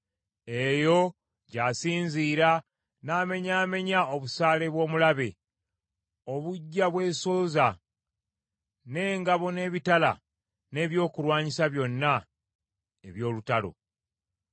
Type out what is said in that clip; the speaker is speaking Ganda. Eyo gy’asinziira n’amenyaamenya obusaale bw’omulabe obujja bwesooza; n’engabo n’ebitala n’ebyokulwanyisa byonna eby’olutalo.